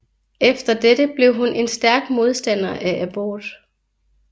Efter dette blev hun en stærk modstander af abort